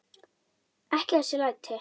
Ekki þessi læti.